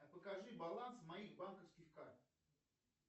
покажи баланс моих банковских карт